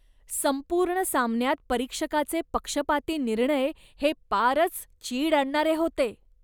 संपूर्ण सामन्यात परीक्षकाचे पक्षपाती निर्णय हे पारच चीड आणणारे होते.